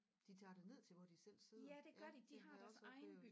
De tager det ned til hvor de selv sidder ja det har jeg også oplevet